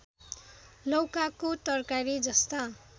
लौकाको तरकारी जस्ता